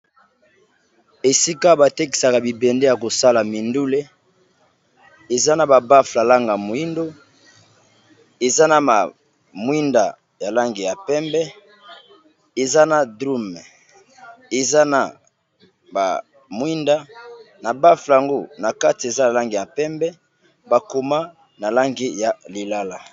Esika batekisa bibende ya kosala mindule eza na ba baffle ya langi ya moyindo eza mwinda ya langi ya pembe bakoma na langi ya lilala.